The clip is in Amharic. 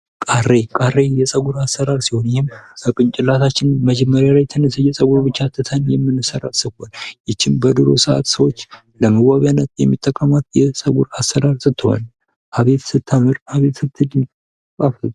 ቃሬ ቃሬ የጸጉር አሰራር ሲሆን ይህም ከጭንቅላታችን መጀመሪያ ላይ ትንሽዬ ጸጉር ብቻ ትተን የምንሰራው የጸጉር ይችም በዱሮ ሰአት ሰዎች ለመዋቢያነት የሚጠቀሙት የጸጉር አሰራር ስትሆን አቤት ስታምር አቤት።